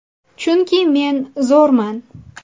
Chunki men zo‘rman”.